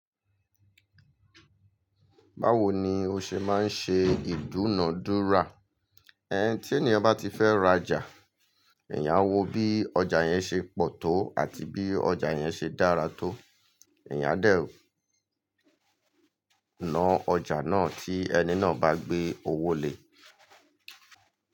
Báwo ni o ṣe máa ń ṣe ìdúnàádúrà? Ẹn, tí eniyan bá ti fẹ́ ra ọjà, èèyàn á wo bí ọjà yẹn ṣe pọ̀ tó àti bí ọjà yẹn ṣe dára tó. Èèyàn á dẹ̀ ńá ọjà náà tí ẹni náà bá gbé owó lè.